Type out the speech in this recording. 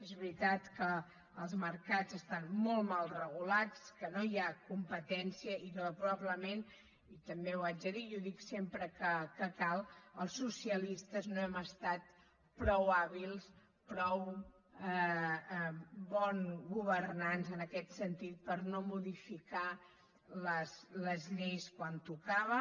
és veritat que els mercats estan molt mal regulats que no hi ha competència i que probablement i també ho haig de dir i ho dic sempre que cal els socialistes no hem estat prou hàbils prou bons governants en aquest sentit per no modificar les lleis quan tocava